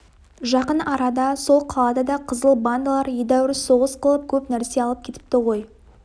жақын арада сол қалада да қызыл бандалар едәуір соғыс қылып көп нәрсе алып кетіпті ғой